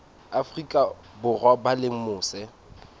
afrika borwa ba leng mose